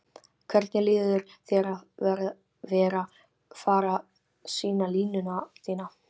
Hvernig líður þér að vera fara sýna línuna þína?